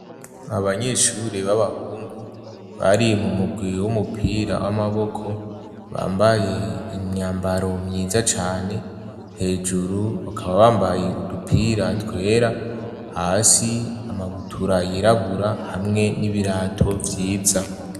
Abanyeshure b'abahungu ,bari mu mugwi w'umupira w'amaboko ,bambaye imyambaro myiza cane, hejuru bakaba bambaye udupira twera ,hasi amabutura yirabura ,hamwe n'ibirato vyiza.